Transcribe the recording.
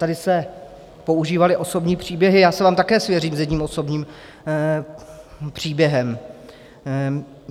Tady se používaly osobní příběhy, já se vám také svěřím s jedním osobním příběhem.